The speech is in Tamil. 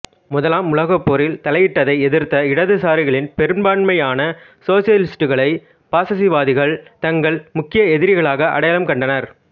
முதலாம் உலகப் போரில் தலையிட்டதை எதிர்த்த இடதுசாரிகளின் பெரும்பான்மையான சோசியலிஸ்டுகளை பாசிசவாதிகள் தங்கள் முக்கிய எதிரிகளாக அடையாளம் கண்டனர்